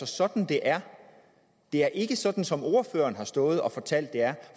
sådan det er det er ikke sådan som ordføreren har stået og fortalt det er